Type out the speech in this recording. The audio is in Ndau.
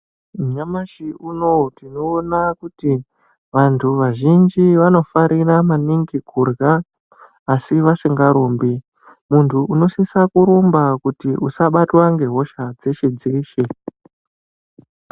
Nyamashi unou tinoona kuti vantu vazhinji vanofarira maningi kuhya asi vasinga rumbi muntu unosisa rumba kuti usabatwe ngehosha dzeshe dzeshe.